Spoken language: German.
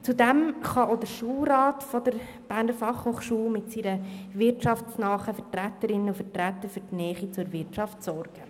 Zudem kann auch der Schulrat der BFH mit seinen wirtschaftsnahen Mitgliedern für die Nähe zur Wirtschaft sorgen.